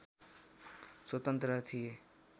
स्वतन्त्र थिए